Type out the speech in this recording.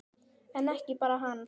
En ekki bara hann.